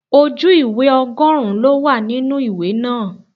Ojú ìwé ọgọrun ló wà nínú ìwé náà.